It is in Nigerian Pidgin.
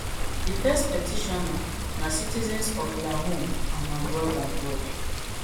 di first petitioner na citizens of la home and abroad abroad